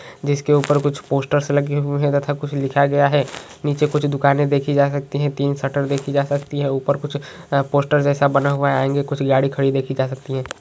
जिसके ऊपर कुछ पोस्टर लगे हुए है तथा कुछ लिखा गया है नीचे कुछ दुकानें देखी जा सकती है तीन शटर देखी जा सकती है ऊपर कुछ पोस्टर जैसा बना हुआ है आगे कुछ गाड़ी खड़ी देखी जा सकती है।